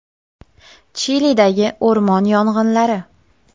Chilidagi o‘rmon yong‘inlari.